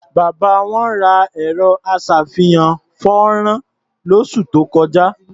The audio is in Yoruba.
Bàbá wọn ra ẹ̀rọ-aṣàfihàn-fọ́nrán lósù tó kọjá.